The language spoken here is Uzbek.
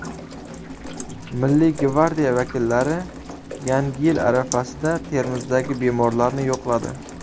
Milliy gvardiya vakillari Yangi yil arafasida Termizdagi bemorlarni yo‘qladi.